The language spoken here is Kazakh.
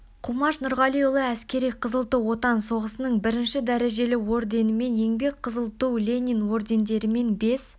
қумаш нұрғалиұлы әскери кызыл ту отан соғысының бірінші дәрежелі орденімен еңбек қызыл ту ленин ордендерімен бес